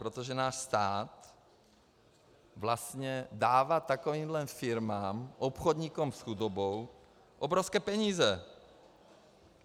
Protože náš stát vlastně dává takovýmto firmám, obchodníkům s chudobou, obrovské peníze.